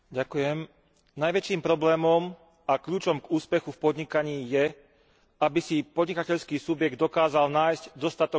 Najväčším problémom a kľúčom k úspechu v podnikaní je, aby si podnikateľský subjekt dokázal nájsť dostatok zákazníkov.